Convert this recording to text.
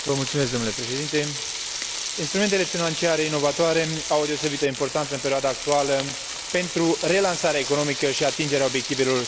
Instrumentele financiare inovatoare au o deosebită importanță în perioada actuală pentru relansarea economică și atingerea obiectivelor strategice ale Uniunii Europene.